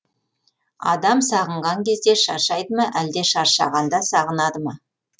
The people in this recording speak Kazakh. адам сағынған кезде шаршайды ма әлде шаршағанда сағынады ма